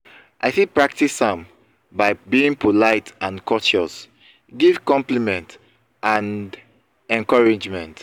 i fit practice am by being polite and courteous give compliment and encouragement.